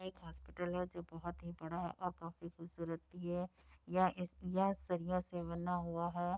एक हॉस्पिटल है जो बहुत ही बड़ा है और काफी खूबसूरत भी है। यह से बना हुआ है।